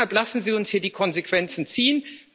Deshalb lassen Sie uns hier die Konsequenzen ziehen!